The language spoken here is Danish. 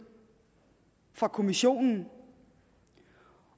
fra kommissionen